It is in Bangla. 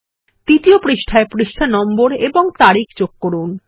দ্বিতীয় পৃষ্ঠায় পৃষ্ঠা নম্বর এবং তারিখ যোগ করুন